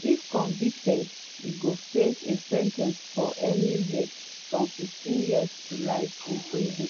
if convicted e go face a sen ten ce of anywhere from 15 years to life in prison.